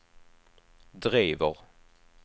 driver